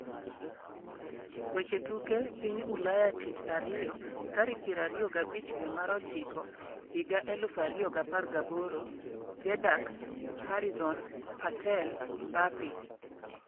Weche tuke piny ulaya tich ariyo 25.09.2018: Dejacks, Harizon, Patel, Mbape